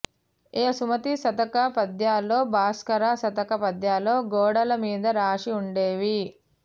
ఏ సుమతీ శతక పద్యాలో భాస్కర శతక పద్యాలో గోడల మీద రాశి ఉండేవి